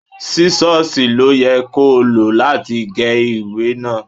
Sísọ́sìì ló yẹ kó o lọ láti gé ìwé náà.